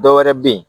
Dɔwɛrɛ be yen